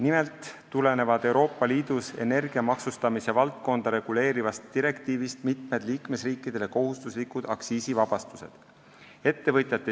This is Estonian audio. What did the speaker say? Nimelt tulenevad Euroopa Liidus energia maksustamise valdkonda reguleerivast direktiivist mitmed liikmesriikidele kohustuslikud aktsiisivabastused.